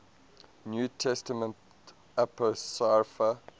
new testament apocrypha